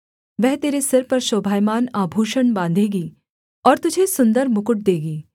वह तेरे सिर पर शोभायमान आभूषण बाँधेगी और तुझे सुन्दर मुकुट देगी